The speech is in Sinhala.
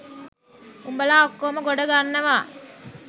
උඹලා ඔක්කෝම ගොඩ ගන්නවා.